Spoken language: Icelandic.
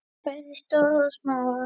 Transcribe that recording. Bæði stóra og smáa.